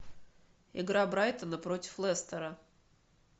игра брайтона против лестера